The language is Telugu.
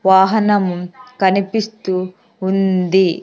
వాహనము కనిపిస్తూ ఉంది .